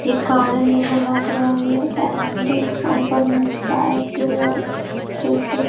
एक कार नजर लग रही है एंड ऊपर में स्काई ब्लू है कलर की--